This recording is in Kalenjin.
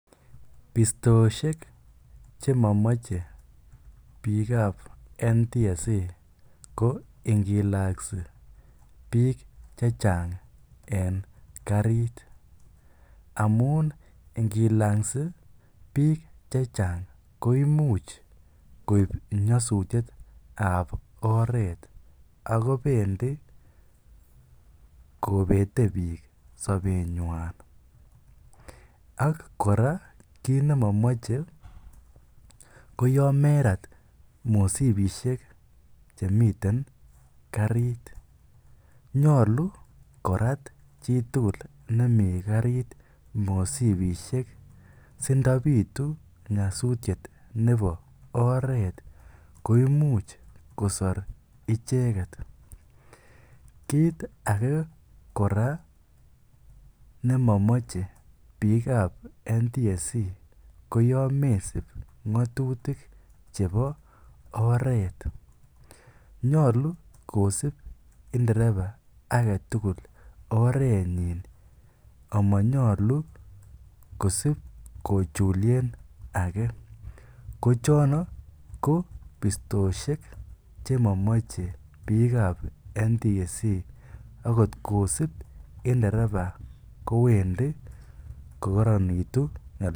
Bistooshek chemomoche NTSA ko ngiloksi biik chechang en karit, ngamun ingilaksi biik chechang koimuch koib nyosutietab oreet ak kobendi kobete biik sobenywan ak kora kiit nemomoche koyon merat mosibishek chemiten karit, nyolu korat citukul nemii karit mosibishek sindobitu nyosutiet nebo oreet ko imuch kosor icheket, kiit akee kora nemomoche NTSA ko yoon mesib ngotutik chebo oreet, nyolu jkosib ndereba aketukul orenyin amanyolu kosib kochulien akee kochono ko bistooshek chemomoche biikab NTSA ak kot kosib ndereba kowendi kokoronitu.